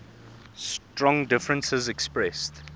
strong differences expressed